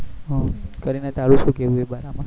હ કરીના તારું શું કેવું એ